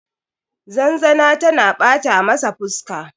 zanzana tana bata masa fuska